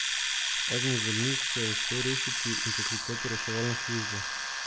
Eden izmed njih se je uspel rešiti in poklicati reševalno službo.